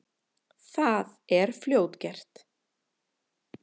Það er fljótgert.